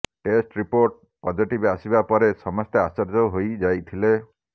test report positive ଆସିବା ପରେ ସମସ୍ତେ ଆଶ୍ଚର୍ଯ୍ୟ ହୋଇ ଯାଇଥିଲେ